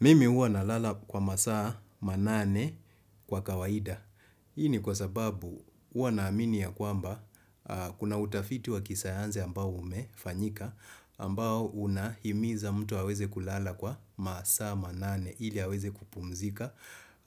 Mimi huwa nalala kwa masaa manane kwa kawaida. Hii ni kwa sababu huwa naamini ya kwamba kuna utafiti wa kisayanzi ambao umefanyika ambao unahimiza mtu aweze kulala kwa masaa manane ili aweze kupumzika